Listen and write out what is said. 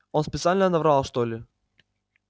он специально наврал что ли